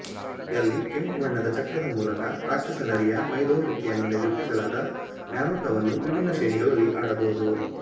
ಯಲ್ಲಿ ಕೆಂಪು ಬಣ್ಣದ ಚಕ್ರದ ಮೂಲಕ ರಾಕ್ಷಸ ನರಿಯ ಮೈದೋರಿವಿಕೆಯನ್ನು ನಿರೂಪಿಸಲಾದ ನ್ಯಾರುಟೋವನ್ನು ವಿಭಿನ್ನ ಶ್ರೇಣಿಗಳಲ್ಲಿ ಆಡಬಹುದು